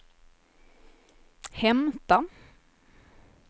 hämta